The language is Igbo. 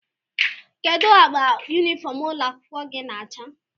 Kedụ agba yunifọm ụlọ akwụkwọ gị na acha?